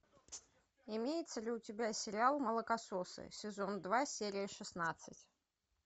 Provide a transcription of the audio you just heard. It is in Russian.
имеется ли у тебя сериал молокососы сезон два серия шестнадцать